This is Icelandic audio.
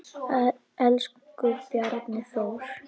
Elsku Bjarni Þór.